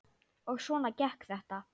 Og svona gekk þetta.